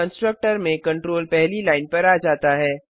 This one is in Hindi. कंस्ट्रक्टर में कंट्रोल पहली लाइन पर आ जाता है